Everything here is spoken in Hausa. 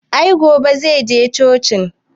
I gobe zai je cocin